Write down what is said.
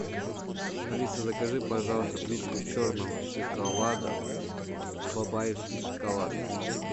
алиса закажи пожалуйста плитку черного шоколада бабаевский шоколад